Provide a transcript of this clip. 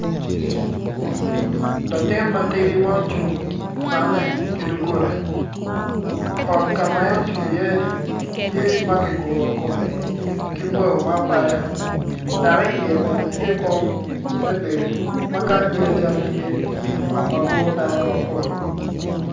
Latin matidi ma ocung opannne ki duggola ot ka ma en ocung iye-ni tye ma ki guru kumme ka bao ma apada dak iye bene tye kom me bedo ma kany bedo calo tye ot ma guru dano mapol